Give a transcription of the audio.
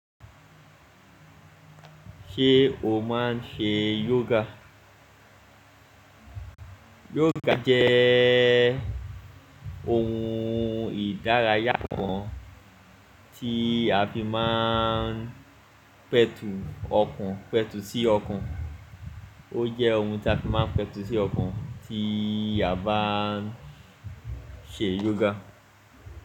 Ṣé o máa ń ṣe yoga? Yoga jẹ́ ohun ìdárayá kan tí a fi máa ń pẹ̀tù ọkùn, pẹ̀tù sí ọkùn. Ó jẹ́ ohun tí a fi máa ń pẹ̀tù sí ọkùn tí a bá ń ṣe yoga.